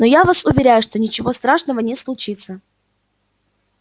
но я вас уверяю что ничего страшного не случится